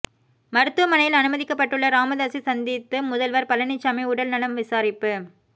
மருத்துவமனையில் அனுமதிக்கப்பட்டுள்ள ராமதாஸை சந்தித்து முதல்வர் பழனிசாமி உடல் நலம் விசாரிப்பு